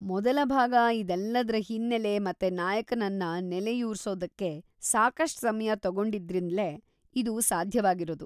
ಮೊದಲ ಭಾಗ ಇದೆಲ್ಲದ್ರ ಹಿನ್ನೆಲೆ ಮತ್ತೆ ನಾಯಕನನ್ನ ನೆಲೆಯೂರ್ಸೋದಕ್ಕೆ ಸಾಕಷ್ಟ್ ಸಮಯ ತಗೊಂಡಿದ್ರಿಂದ್ಲೇ ಇದು ಸಾಧ್ಯವಾಗಿರೋದು.